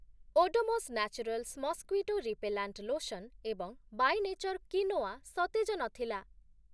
Odomos naturals mosquito repellent lotion ଏବଂ by nature quinoa ସତେଜ ନଥିଲା ।